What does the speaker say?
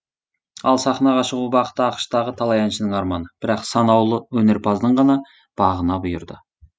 ал сахнаға шығу бақыты ақш тағы талай әншінің арманы бірақ саналуы өнерпаздың ғана бағына бұйырды